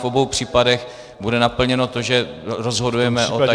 V obou případech bude naplněno to, že rozhodujeme o tajné volbě.